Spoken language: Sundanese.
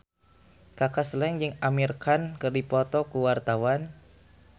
Kaka Slank jeung Amir Khan keur dipoto ku wartawan